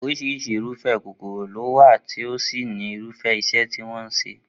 Orís̩irís̩i irúfé̩ kòkòrò ló wà tí ó sì ní irúfé̩ is̩é̩ tí wó̩n máa ń s̩e